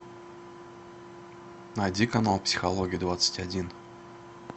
найди канал психология двадцать один